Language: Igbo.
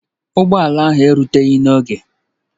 Ụgbọ ala ahụ ruteghi n'oge